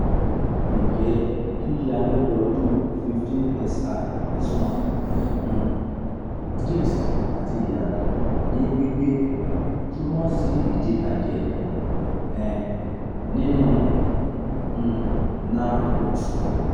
nje yiya lodoodun fifteen sI s one um disc ati iyato ni gbigbe tunmo si idibaje um ninu um nerve root